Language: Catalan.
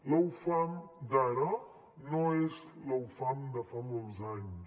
la ufam d’ara no és la ufam de fa molts anys